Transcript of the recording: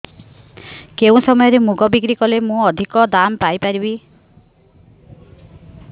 କେଉଁ ସମୟରେ ମୁଗ ବିକ୍ରି କଲେ ମୁଁ ଅଧିକ ଦାମ୍ ପାଇ ପାରିବି